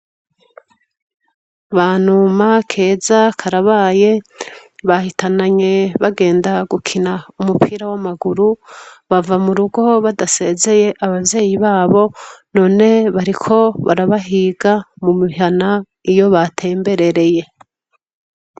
Banuma, Keza, Karabaye bahitananye bagenda gukina umupira wamaguru bava murugo badasezeye abavyeyi babo none bariko barabahiga mumihana iyo batemberereye.